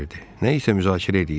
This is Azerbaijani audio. Nə isə müzakirə edirdilər.